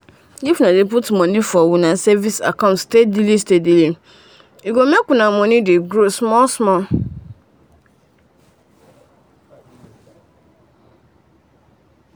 if una dey put money for una savings account steady steady steadye go make una money dey grow small small.